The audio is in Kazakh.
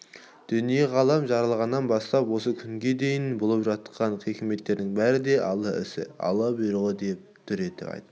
дүние-ғалам жаралғаннан бастап осы күнге дейінгі болып жатқан хикметтердің бәрі де алла ісі алла бұйрығы дүр деп айтты